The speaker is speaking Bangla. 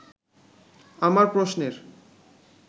আমার প্রশ্নের